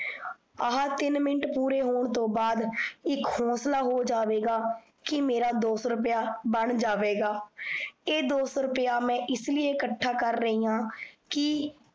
ਆਹਾ ਤਿਨ ਮਿੰਟ ਪੂਰੇ ਹੋਣ ਤੋਂ ਬਾਦ ਇੱਕ ਹੋਨਸਲਾ ਹੋ ਜਾਵੇਗਾ, ਕੀ ਮੇਰਾ ਦੋਸੋ ਰੁੱਪਏਆ ਬਣ ਜਾਵੇਗਾ, ਇਹ ਦੋਸੋ ਰੁੱਪਏਆ ਮੈ ਇਸ ਲਏਈ ਇਕਠਾ ਕਰ ਰਹੀਆਂ ਕੀ